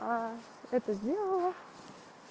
это сделала